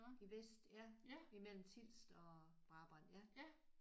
I Vest ja. Imellem Tilst og Brabrand ja